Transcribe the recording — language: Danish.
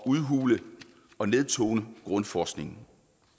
udhule og nedtone grundforskningen